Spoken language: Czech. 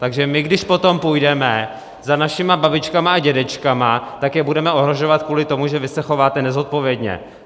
Takže my když potom půjdeme za našimi babičkami a dědečky, tak je budeme ohrožovat kvůli tomu, že vy se chováte nezodpovědně.